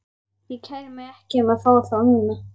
Ég kæri mig ekki um að fá þá núna.